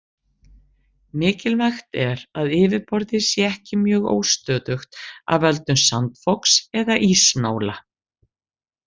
Mikilvægt er að yfirborðið sé ekki mjög óstöðugt af völdum sandfoks eða ísnála.